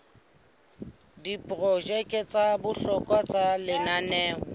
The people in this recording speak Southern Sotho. diprojeke tsa bohlokwa tsa lenaneo